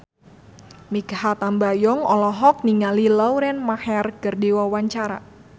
Mikha Tambayong olohok ningali Lauren Maher keur diwawancara